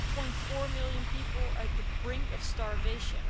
8.4 million people are on the brink of starvation.